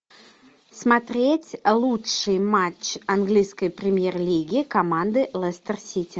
смотреть лучший матч английской премьер лиги команды лестер сити